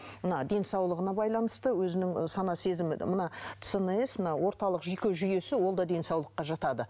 мына денсаулығына байланысты өзінің сана сезімі мына цнс мына орталық жүйке жүйесі ол да денсаулыққа жатады